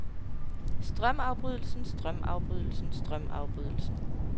strømafbrydelsen strømafbrydelsen strømafbrydelsen